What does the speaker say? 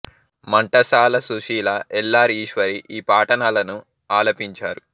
Ghantasala Susheela L R Eswari ఈ పాటనలను ఆలపించారు